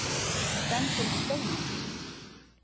Stendur við steininn.